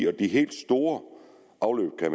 og de helt store afløb er